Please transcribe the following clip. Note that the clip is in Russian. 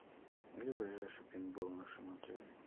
где ближайший пейнтбол в нашем отеле